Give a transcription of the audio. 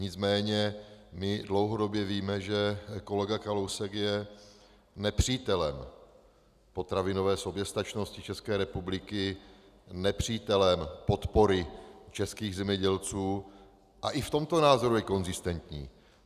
Nicméně my dlouhodobě víme, že kolega Kalousek je nepřítelem potravinové soběstačnosti České republiky, nepřítelem podpory českých zemědělců a i v tomto názoru je konzistentní.